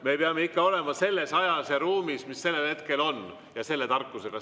Me peame ikka olema selles ajas ja ruumis ja selle tarkusega, mis sellel hetkel on.